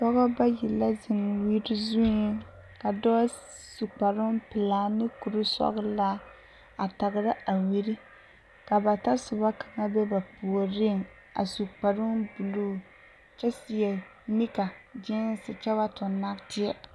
Pɔɡebɔ bayi la zeŋ wiri zuiŋ ka dɔɔ su kparoo pelaa ane kursɔɡelaa a taɡera a wiri ka ba tasoba kaŋa be ba puoriŋ a su kparoo buluu kyɛ seɛ nika ɡeese kyɛ ba tuɡi naateɛ.